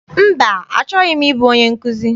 Mba, achọghị m ịbụ onye nkụzi.